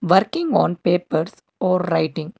working on papers or writing.